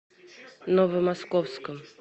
новомосковском